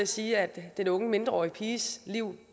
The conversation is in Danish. sige at den unge mindreårige piges liv